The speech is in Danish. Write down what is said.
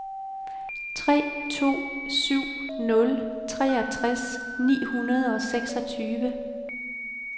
tre to syv nul treogtres ni hundrede og seksogtyve